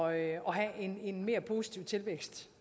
at have en en mere positiv tilvækst